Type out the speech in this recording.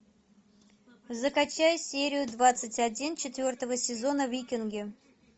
закачай серию двадцать один четвертого сезона викинги